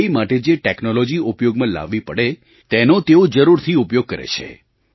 તે માટે જે ટૅક્નૉલૉજી ઉપયોગમાં લાવવી પડે તેનો તેઓ જરૂર થી ઉપયોગ કરે છે